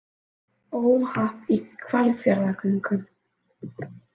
Óhapp í Hvalfjarðargöngum